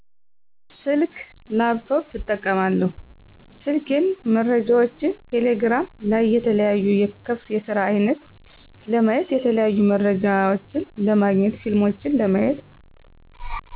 ስልክ፣ ላፕቶፕ እጠቀማለሁ ስልኬን መረጃዎችን ቴሌግራም ላይ የተለያዩ ክፍት የስራ አይነት ለማየት የተለያዩ መረጃዎች ለማግኘት ፊልሞችን ለማየት